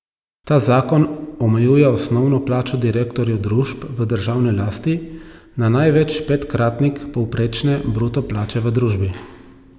Ta zakon omejuje osnovno plačo direktorjev družb v državni lasti na največ petkratnik povprečne bruto plače v družbi.